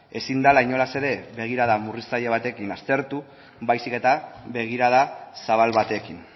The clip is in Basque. ezin dela inolaz ere begirada murriztaile batekin aztertu baizik eta begirada zabal batekin